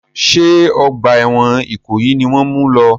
Ṣé ọgbà ẹ̀wọ̀n ìkòyí ni wọ́n mu lọ?